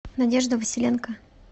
надежда василенко